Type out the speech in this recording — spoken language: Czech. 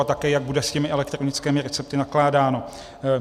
A také jak bude s těmi elektronickými recepty nakládáno.